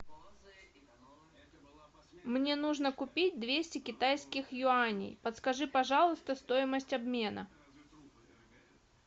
мне нужно купить двести китайских юаней подскажи пожалуйста стоимость обмена